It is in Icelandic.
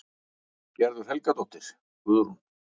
Gerður Helgadóttir, Guðrún